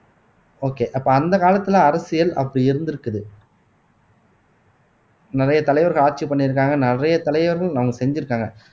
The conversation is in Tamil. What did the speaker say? okay அப்ப அந்த காலத்துல அரசியல் அப்படி இருந்திருக்குது நிறைய தலைவர்கள் ஆட்சி பண்ணியிருக்காங்க நிறைய தலைவர்கள் அவங்க செஞ்சிருக்காங்க